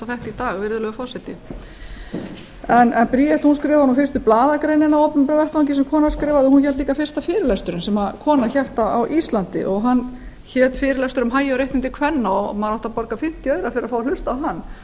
í dag virðulegi forseti en bríet skrifaði nú fyrstu blaðagreinina á opinberum vettvangi sem kona skrifaði og hún hélt líka fyrsta fyrirlesturinn sem kona hélt á íslandi og hann hét fyrirlestur um hagi og réttindi kvenna maður átti að borga fimmtíu aura fyrir að fá að hlusta á hann